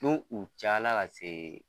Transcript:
N'u u cayala ka se